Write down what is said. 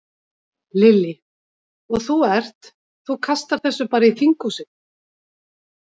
Lillý: Og þú ert, þú kastar þessu bara í þinghúsið?